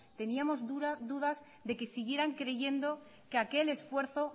teníamos dudas de que siguieran creyendo que aquel esfuerzo